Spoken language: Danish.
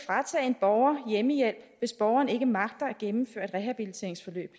kl hjemmehjælp hvis borgeren ikke magter at gennemføre et rehabiliteringsforløb